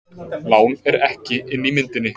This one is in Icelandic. Lán er ekki inni í myndinni